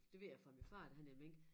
Det ved jeg fra min far da han havde mink